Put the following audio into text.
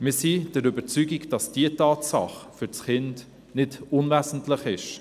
Wir sind der Überzeugung, dass diese Tatsache für das Kind nicht unwesentlich ist.